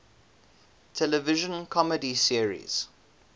television comedy series